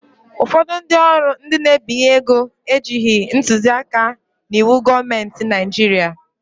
Ụfọdụ ụlọ ọrụ ndị n'ebinye ego ejighị ntuzi aka n'iwu gọọmenti Naijiria